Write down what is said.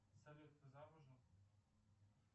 салют ты замужем